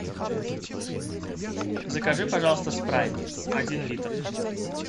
закажи пожалуйста спрайт один литр